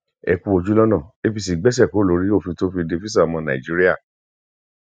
ẹ kú ojúlọnà apc gbéṣẹ kúrò lórí òfin tó fi de físà ọmọ nàìjíríà